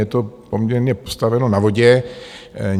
Je to poměrně postaveno na vodě.